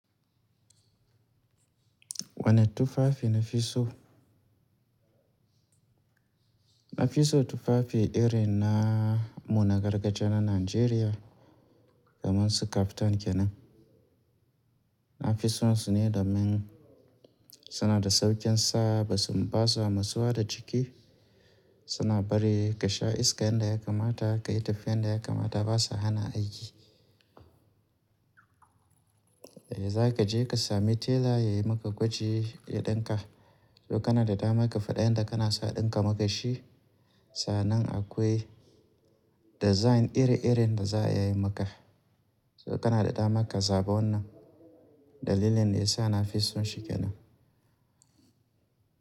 Wane tufafi na fi so? Na fi so tufafi irin namu nagargajiya na Najeriya kamar su kaftan kenan. Na fi so su ne domin suna da sauƙin sa, ba su, ba su masuwa da jiki, suna bari ka sha iska yadda ya kamata, ka yi tafiya yadda ya kamata, ba sa hana aiki. Zaka je ka sami tela ya maka gwaji ya dinka. Ko kana da dama ka fada yanda kake so a ɗinka maka shi, sannan akwai design ire-iren da za a yi maka. Ko kana da dama ka zaba wannan, dalilin fa ya sa nafi son shi kenan.